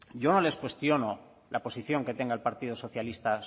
yo no les cuestiono la posición que tenga el partido socialista